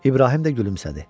İbrahim də gülümsədi.